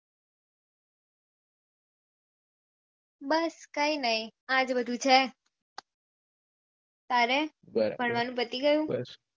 બસ કાયિક નહી આજ બધું છે તારે ફરવાનું પતિ ગયું